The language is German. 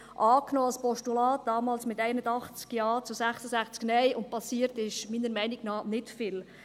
Er wurde damals als Postulat angenommen, mit 81 Ja zu 66 Nein, und passiert ist, meiner Meinung nach, nicht viel.